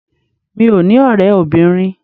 Mí ò ní ọ̀rẹ́ obìnrin.